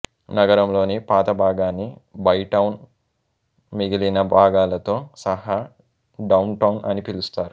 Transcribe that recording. నగరంలోని పాత భాగాన్ని బైటౌన్ మిగిలిన భాగాలతో సహా డౌన్ టౌన్ అని పిలుస్తారు